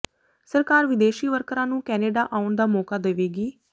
ਸਰਕਾਰ ਵਿਦੇਸ਼ੀ ਵਰਕਰਾਂ ਨੂੰ ਕੈਨੇਡਾ ਆਉਣ ਦਾ ਮੌਕਾ ਦੇਵੇਗੀ